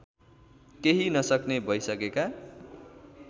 केही नसक्ने भइसकेका